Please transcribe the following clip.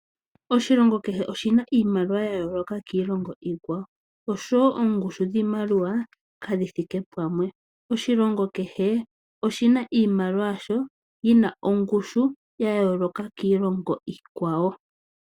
Oshilongo kehe oshi na iimaliwa ya yooloka kiilongo iikwawo, osho wo oongushu dhiimaliwa kadhi thike pumwe. Oshilongo kehe oshina iimaliwa yasho yina ongushu ya yooloka kiilongo iikwawo.